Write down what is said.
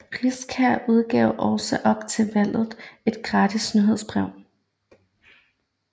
Riskær udgav også op til valget et gratis nyhedsbrev